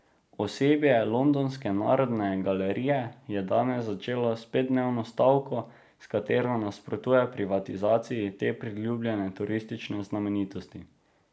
Osebje londonske Narodne galerije je danes začelo s petdnevno stavko, s katero nasprotuje privatizaciji te priljubljene turistične znamenitosti.